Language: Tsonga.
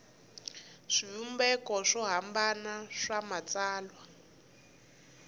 swivumbeko swo hambana swa matsalwa